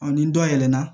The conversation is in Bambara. ni dɔ yɛlɛna